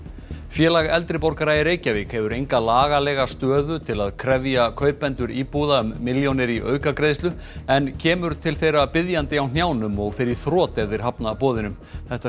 félag eldri borgara í Reykjavík hefur enga lagalega stöðu til að krefja kaupendur íbúða um milljónir í aukagreiðslur en kemur til þeirra biðjandi á hnjánum og fer í þrot ef þeir hafna boðinu þetta